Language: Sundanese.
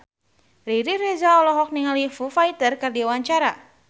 Riri Reza olohok ningali Foo Fighter keur diwawancara